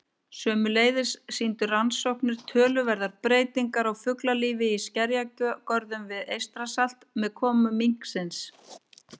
Sömuleiðis sýndu rannsóknir töluverðar breytingar á fuglalífi í skerjagörðum við Eystrasalt með komu minksins.